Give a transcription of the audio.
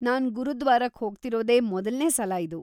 ನಾನ್ ಗುರುದ್ವಾರಕ್ಕ್ ಹೋಗ್ತಿರೋದೇ ಮೊದಲ್ನೇ ಸಲ ಇದು.